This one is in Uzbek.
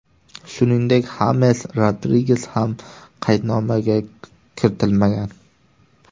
Shuningdek, Xames Rodriges ham qaydnomaga kiritilmagan.